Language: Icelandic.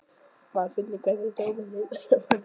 Maður finnur hvernig tómið umlykur mann, eins og hljóð.